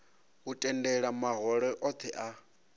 u tendela mahoro othe a